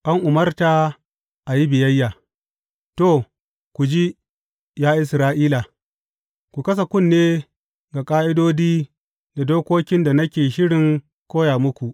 An umarta a yi biyayya To, ku ji, ya Isra’ila, ku kasa kunne ga ƙa’idodi da dokokin da nake shirin koya muku.